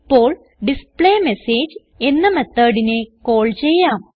ഇപ്പോൾ ഡിസ്പ്ലേമെസേജ് എന്ന methodനെ കാൾ ചെയ്യാം